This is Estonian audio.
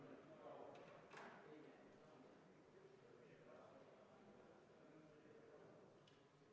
Kõigepealt palun kontrollida hääletamiskaste ja seda, et turvaplommid hääletamiskastidel ei oleks rikutud.